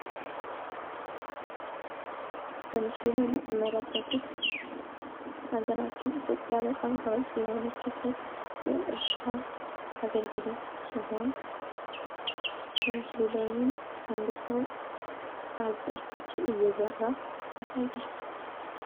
በምስሉ ላይ የምትመለከቱት ሃገራችን ኢትዮጲያ በጣም ታዋቂ የሆነችበት የእርሻ አገልግሎት ሲሆን በምስሉ ላይም አንድ ሰው አዘርቶችን እየዘራ ያሳያል።